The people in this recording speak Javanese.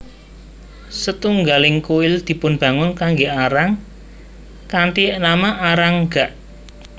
Setunggaling kuil dipunbangun kanggé Arang kanthi nama Arang gak